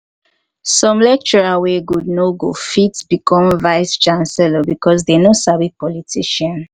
some lecturer wey good no go fit become vice chancellor because they no sabi politician